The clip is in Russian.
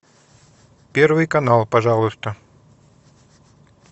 первый канал пожалуйста